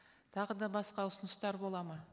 тағы да басқа ұсыныстар болады ма